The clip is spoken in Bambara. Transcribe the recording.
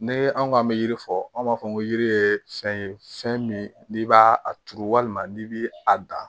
Ne anw k'an bɛ yiri fɔ an b'a fɔ ko yiri ye fɛn ye fɛn min n'i b'a a turu walima n'i bi a dan